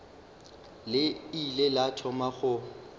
le ile la thoma go